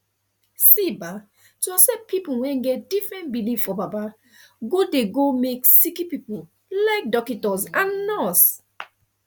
see bah to accept pple wen get different belief for baba godey go make sicki pple like dockitos and nurse